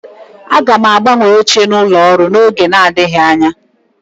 Aga m agbanwe oche n'ụlọ ọrụ n'oge adịghị anya